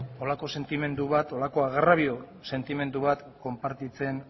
holako sentimendu bat holako agrabio sentimendu bat konpartitzen